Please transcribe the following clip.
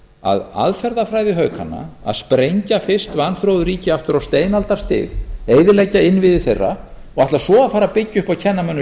að aðferðafræði haukanna að sprengja fyrst vanþróuð ríki aftur á steinaldarstig eyðileggja innviði þeirra og ætla svo að fara að byggja upp og kenna mönnum